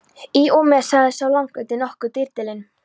Í og með, sagði sá langleiti, nokkuð drýldinn.